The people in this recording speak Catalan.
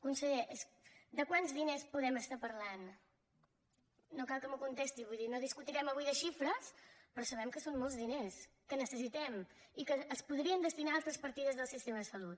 conseller de quants diners podem estar parlant no cal que m’ho contesti vull dir no discutirem avui de xifres però sabem que són molts diners que necessitem i que es podrien destinar a altres partides del sistema de salut